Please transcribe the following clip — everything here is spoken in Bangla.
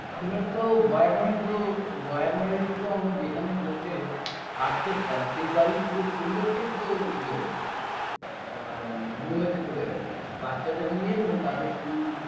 আপনারা তো বয়ান বাড়ি তো বয়ান বাড়িতেতো আমরা যেখানে বসে কাজ করতাম সেই বাড়ির পুরো পরিবারটাই তো ইয়ে হয়ে গেছে আ বোম্বেতে চলে গেছে বাচ্চাদের নিয়ে এবং তাদের school